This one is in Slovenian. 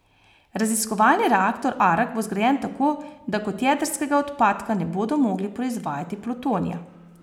Raziskovalni reaktor Arak bo zgrajen tako, da kot jedrskega odpadka ne bodo mogli proizvajati plutonija.